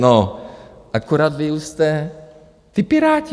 No, akorát vy už jste ti Piráti.